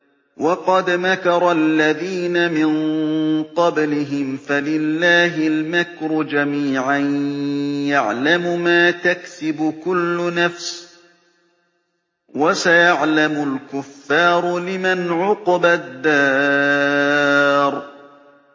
وَقَدْ مَكَرَ الَّذِينَ مِن قَبْلِهِمْ فَلِلَّهِ الْمَكْرُ جَمِيعًا ۖ يَعْلَمُ مَا تَكْسِبُ كُلُّ نَفْسٍ ۗ وَسَيَعْلَمُ الْكُفَّارُ لِمَنْ عُقْبَى الدَّارِ